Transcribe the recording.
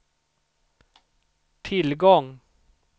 tillgång